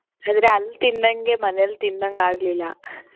ಆದ್ರೆ ಅಲ್ ತಿಂದಂಗೇ ಮನೆಲ್ ತಿಂದoಗ್ ಆಗ್ಲಿಲ್ಲ .